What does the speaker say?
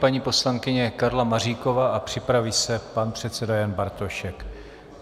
Paní poslankyně Karla Maříková a připraví se pan předseda Jan Bartošek.